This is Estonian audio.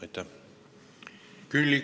Aitäh!